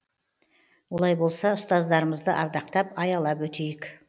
олай болса ұстаздарымызды ардақтап аялап өтейік